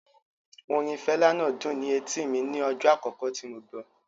Orin Fela náà dùn ni etíì mi ní ọjọ́ àkókò tí mo gbọ́.